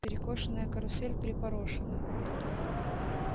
перекошенная карусель припорошена